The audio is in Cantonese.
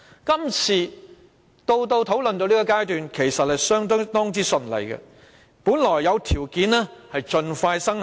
今次的《條例草案》直到討論階段其實都相當順利，本來有條件盡快生效。